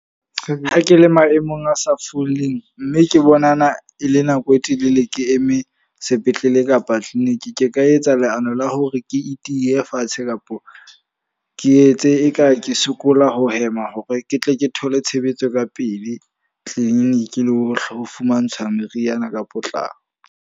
Ha ke le maemong a sa foleng, mme ke bonana e le nako e telele ke eme sepetlele kapa clinic. Ke ka etsa leano la hore ke itiye fatshe kapa ke etse eka ke sokola ho hema hore ke tle ke thole tshebetso ka pele clinic, le ho fumantshwa meriana ka potlako.